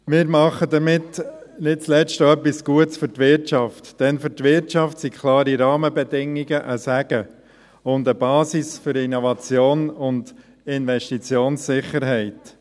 Wir tun damit nicht zuletzt auch für die Wirtschaft etwas Gutes, denn für die Wirtschaft sind klare Rahmenbedingungen ein Segen und eine Basis für Innnovation und Investitionssicherheit.